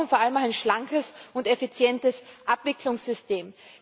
Wir brauchen vor allem ein schlankes und effizientes Abwicklungssystem.